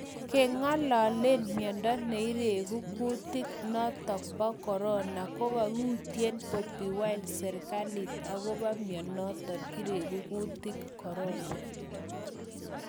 Kengalalen miondo neiregu kutik noton Corona kokawuito Bobi Wine serikalit akobo mionoto iregu kutik Corona